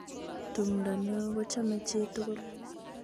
Tumdo nio kuchomei chitugul.